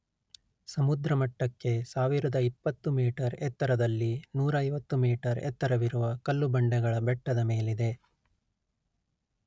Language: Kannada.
ಸಮುದ್ರಮಟ್ಟಕ್ಕೆ ಸಾವಿರದ ಇಪ್ಪತ್ತು ಮೀಟರ್ ಎತ್ತರದಲ್ಲಿ ನೂರೈವತ್ತು ಮೀಟರ್ ಎತ್ತರವಿರುವ ಕಲ್ಲುಬಂಡೆಗಳ ಬೆಟ್ಟದ ಮೇಲಿದೆ